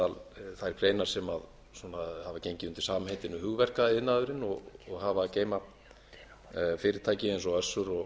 meðal þær greinar sem hafa gengið undir samheitinu hugverkaiðnaðurinn og hafa að geyma fyrirtæki eins og össur og